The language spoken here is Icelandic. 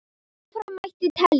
Áfram mætti telja.